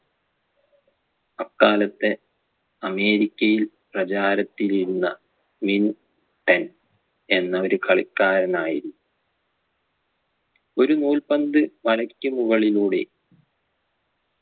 അക്കാലത്തെ അമേരിക്കയിൽ പ്രചാരത്തിലിരുന്ന മിൻടെൻ എന്ന ഒരു കളിക്കാരനായിരുന്നു ഒരു നൂൽപന്ത് വലയ്ക്കുമുകളിലൂടെ